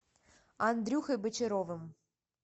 андрюхой бочаровым